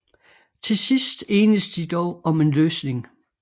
Til sidst enes de dog om en løsning